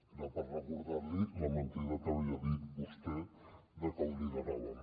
era per recordar li la mentida que havia dit vostè de que ho lideràvem